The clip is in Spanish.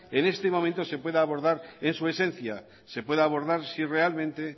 en este momento se pueda abordar en su esencia se pueda abordar si realmente